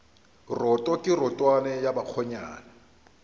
roto ke rotwane ya bakgonyana